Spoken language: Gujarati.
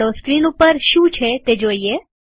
ચાલો સ્ક્રીન ઉપર શું છે તે જોઈએ